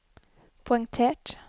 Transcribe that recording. poengtert